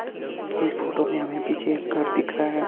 इस फोटो में हमें पीछे एक घर दिख रहा है।